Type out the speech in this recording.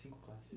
Cinco classes.